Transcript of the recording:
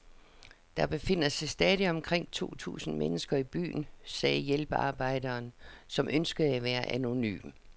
Der befinder sig stadig omkring to tusind mennesker i byen, sagde hjælpearbejderen, som ønskede at være anonym.